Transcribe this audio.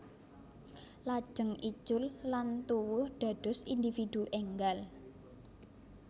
Lajeng icul lan tuwuh dados individu énggal